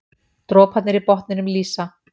Droparnir í botninum lýsa.